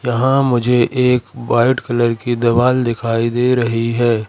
यहां मुझे एक वाइट कलर की दीवाल दिखाई दे रही है।